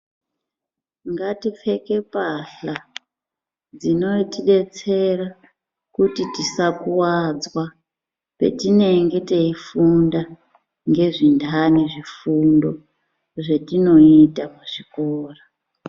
Ngati kete mbatya dzinotidetsera kuti tisa kuvadzwa patinenge teyifunda nezvindani zvifundo zvatinoita muzvikora.